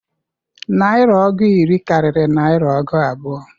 Narịa ọgụ iri karịrị narịa ọgụ abụọ.